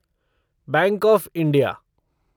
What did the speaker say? bank of India